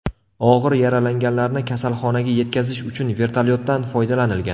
Og‘ir yaralanganlarni kasalxonaga yetkazish uchun vertolyotdan foydalanilgan.